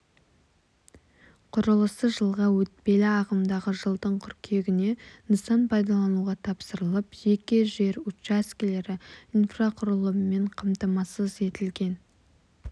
құрылысы жылға өтпелі ағымдағы жылдың қыркүйегіне нысан пайдалануға тапсырылып жеке жер учаскелері инфрақұрылыммен қамтамасыз етілген